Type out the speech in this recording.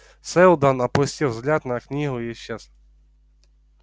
сэлдон опустил взгляд на книгу и исчез